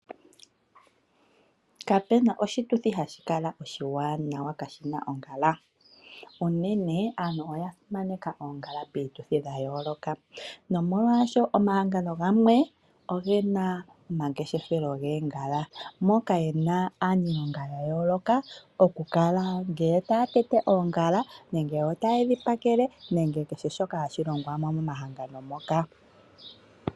Kape na oshituthi hashi kala oshiwanawa kashi na ongala. Unene aantu oya simaneka oongala piituthi ya yooloka, onkene omahango gamwe oge na omangeshefelo goongala, moka ye na aaniilonga ya yooloka. Yamwe otaya tete oongala, yamwe otaye dhi pakele nokulonga kehe shoka hashi longwa mo momahangano ngoka.